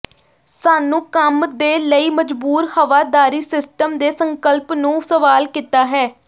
ਸਾਨੂੰ ਕੰਮ ਦੇ ਲਈ ਮਜਬੂਰ ਹਵਾਦਾਰੀ ਸਿਸਟਮ ਦੇ ਸੰਕਲਪ ਨੂੰ ਸਵਾਲ ਕੀਤਾ ਹੈ